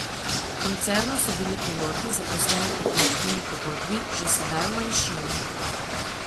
V koncernu so piloti, zaposleni po kolektivni pogodbi, že sedaj v manjšini.